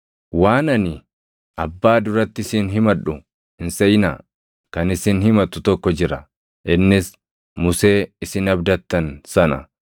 “Waan ani Abbaa duratti isin himadhu hin seʼinaa. Kan isin himatu tokko jira; innis Musee isin abdattan sana.